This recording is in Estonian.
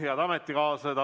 Head ametikaaslased!